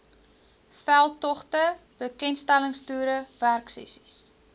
veldtogte bekendstellingstoere werksessies